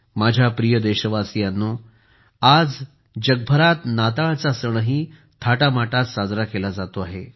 माझ्या प्रिय देशवासियांनो आज जगभरात नाताळचा सणही थाटामाटात साजरा केला जातो आहे